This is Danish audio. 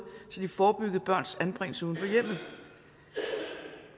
så de forebyggede børns anbringelse uden